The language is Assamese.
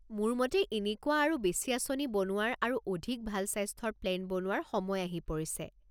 মোৰ মতে এনেকুৱা আৰু বেছি আঁচনি বনোৱাৰ আৰু অধিক ভাল স্বাস্থ্যৰ প্লেন বনোৱাৰ সময় আহি পৰিছে।